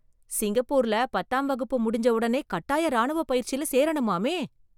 சிங்கப்பூர்ல பத்தாம் வகுப்பு முடிஞ்ச உடனே கட்டாய ராணுவ பயிற்சியில சேரணுமாமே